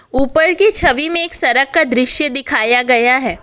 ऊपर की छवि में एक सरक का दृश्य दिखाया गया है।